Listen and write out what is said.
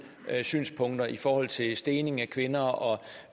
synspunkter i forhold til stening af kvinder og